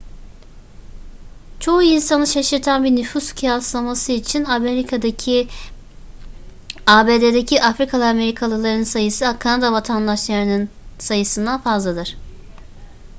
çoğu insanı şaşırtan bir nüfus kıyaslaması için abd'deki afrikalı amerikalıların sayısı kanada vatandaşlarının sayısından fazladır